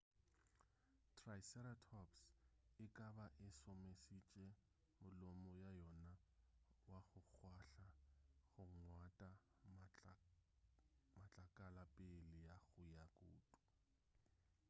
triceratops e ka ba e šomišitše molomo wa yona wa go kgwahla go ngwata matlakala pele ga go ja kutu